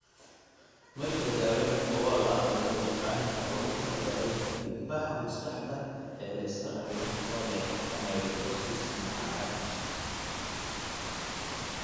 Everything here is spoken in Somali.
Ma jirto daaweyn wax ku ool ah oo la yaqaan oo loogu talagalay dhiig-baxa maskaxda ee la iska dhaxlo oo leh amyloidosis nooca Dutch.